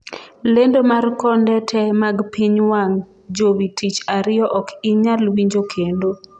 lendo mar konde te mag piny wang' jowi tich ariyo ok inyal winjo kendo